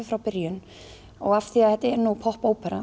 frá byrjun af því að þetta er